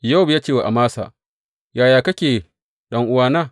Yowab ya ce wa Amasa, Yaya kake, ɗan’uwana?